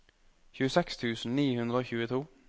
tjueseks tusen ni hundre og tjueto